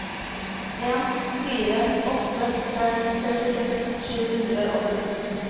en fire åtte fem trettiseks sju hundre og førtiseks